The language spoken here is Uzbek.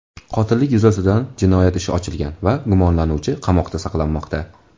Qotillik yuzasidan jinoyat ishi ochilgan va gumonlanuvchi qamoqda saqlanmoqda.